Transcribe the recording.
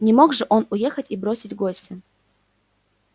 не мог же он уехать и бросить гостя